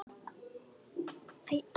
En er það raunhæft?